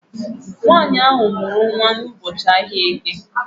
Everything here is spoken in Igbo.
Nwaanyị a mụrụ n'ụbọchị ahịa Eke